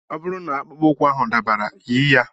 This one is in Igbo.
Ọ bụrụ na akpụkpọ ụkwụ ahụ dabara, yi ya.